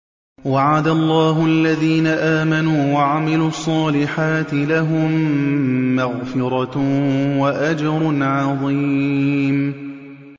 وَعَدَ اللَّهُ الَّذِينَ آمَنُوا وَعَمِلُوا الصَّالِحَاتِ ۙ لَهُم مَّغْفِرَةٌ وَأَجْرٌ عَظِيمٌ